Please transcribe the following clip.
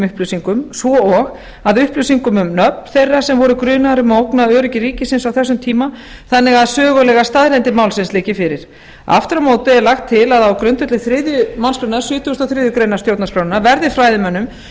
upplýsingum svo og að upplýsingum um nöfn þeirra sem voru grunaðir um að ógna öryggi ríkisins á þessum tíma þannig að sögulegar staðreyndir málsins liggi fyrir aftur á móti er lagt til að á grundvelli þriðju málsgrein sjötugustu og þriðju grein stjórnarskrárinnar verði fræðimönnum